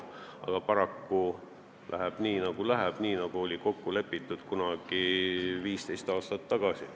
Aga paraku läheb nii, nagu läheb, nagu oli kokku lepitud kunagi 15 aastat tagasi.